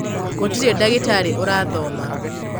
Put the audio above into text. gũtirĩ ndagĩtarĩ ũrathoma